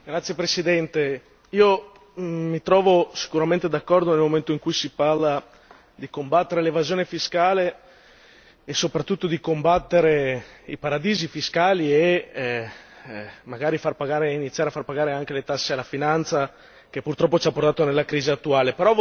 Signor Presidente, onorevoli colleghi, mi trovo sicuramente d'accordo nel momento in cui si parla di combattere l'evasione fiscale e soprattutto di combattere i paradisi fiscali e magari iniziare a far pagare anche le tasse alla finanza, che purtroppo ci ha portato nella crisi attuale.